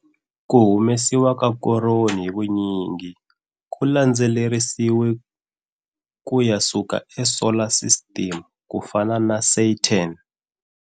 Ku humesiwa ka koroni hi vunyingi ku landzelerisiwe ku ya suka eSolar System ku fana na Saturn.